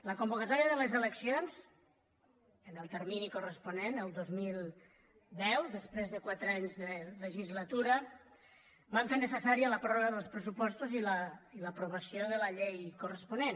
la convocatòria de les eleccions en el termini corresponent el dos mil deu després de quatre anys de legislatura va fer necessària la pròrroga dels pressupostos i l’aprovació de la llei corresponent